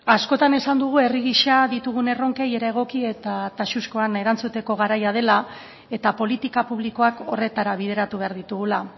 askotan esan dugu herri gisa ditugun erronkei era egoki eta taxuzkoan erantzuteko garaia dela eta politika publikoak horretara bideratu behar ditugula